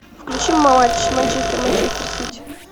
включи матч манчестер манчестер сити